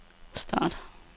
start